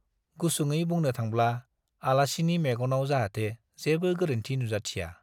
गुसुङै बुंनो थांब्ला-आलासिनि मेग नाव जाहाथै जेबो गोरोन्थि नुजाथिया ।